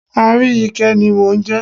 Aríyìíkẹ́ ni mò ń jẹ́.